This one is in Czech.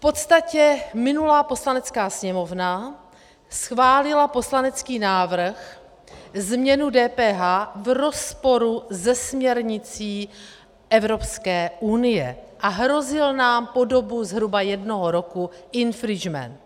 V podstatě minulá Poslanecká sněmovna schválila poslanecký návrh, změnu DPH, v rozporu se směrnicí Evropské unie a hrozil nám po dobu zhruba jednoho roku infringement.